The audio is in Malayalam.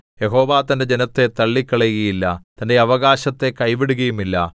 യഹോവ തന്റെ ജനത്തെ തള്ളിക്കളയുകയില്ല തന്റെ അവകാശത്തെ കൈവിടുകയുമില്ല